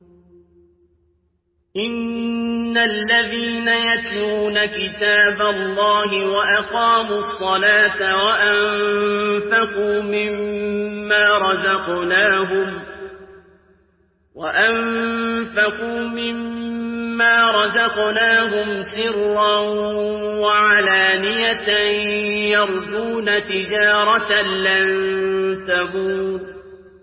إِنَّ الَّذِينَ يَتْلُونَ كِتَابَ اللَّهِ وَأَقَامُوا الصَّلَاةَ وَأَنفَقُوا مِمَّا رَزَقْنَاهُمْ سِرًّا وَعَلَانِيَةً يَرْجُونَ تِجَارَةً لَّن تَبُورَ